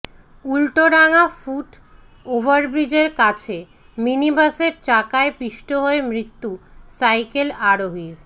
Ultadanga foot ওভারব্রিজের কাছে মিনিবাসের চাকায় পিষ্ট হয়ে মৃত্যু সাইকেল আরোহীর